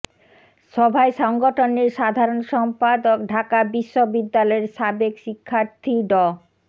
সভায় সংগঠনের সাধারণ সম্পাদক ঢাকা বিশ্ববিদ্যালয়ের সাবেক শিক্ষার্থী ড